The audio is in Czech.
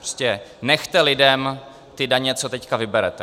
Prostě nechte lidem ty daně, co teď vyberete.